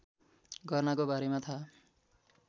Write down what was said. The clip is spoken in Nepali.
गर्नाको बारेमा थाहा